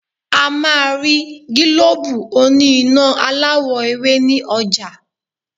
A máa rí gílóbù oní iná aláwọ̀-ewé ní ọjà.